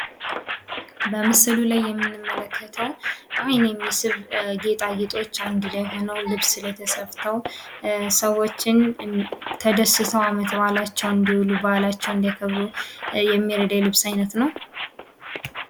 በምስሎ ላይ የምንመለከተው የሚስብ ጌታጌጦች አንድ ላይ ሆነው ልብስ ላይ ተሰፍተው ሰዎችን ተደስቶ ዓመትባላቸውን እንዲሉ በዓላቸውን እንዲያከብሩ የሚረዳ የልብስ አይነት ነው።